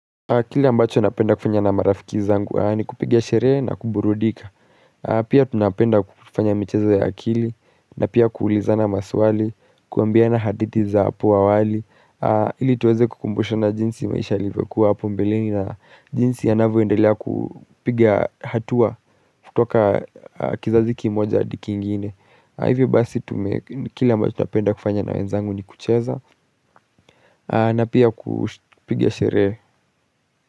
Kili ambacho napenda kufanya na marafiki zangu ni kupigia shere na kuburudika Pia tunapenda kufanya michezo ya akili na pia kuulizana maswali, kuambiana haditi za apu awali Hili tuweze kukumbushona jinsi maisha yalivokua apo mbelini na jinsi ya navu endelea kupiga hatua kutoka kizaziki moja adi ki ngine Hivyo basi kili ambacho napenda kufanya na wenzangu ni kucheza na pia kupiga shere.